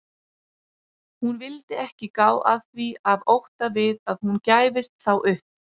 Hún vildi ekki gá að því af ótta við að hún gæfist þá upp.